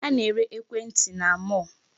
A na-ere ekwentị na mall.